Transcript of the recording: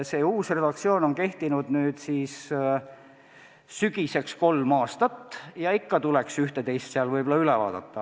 See uus redaktsioon on nüüd sügiseks kehtinud kolm aastat ja ikka tuleks üht-teist seal üle vaadata.